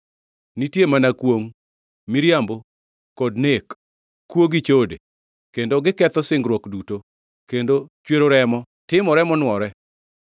Nitie mana kwongʼ, miriambo kod nek, kuo gi chode; kendo giketho singruok duto, kendo chwero remo timore monwore.